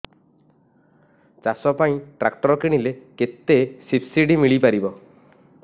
ଚାଷ ପାଇଁ ଟ୍ରାକ୍ଟର କିଣିଲେ କେତେ ସବ୍ସିଡି ମିଳିପାରିବ